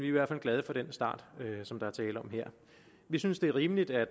i hvert fald glade for den start som der er tale om her vi synes det er rimeligt at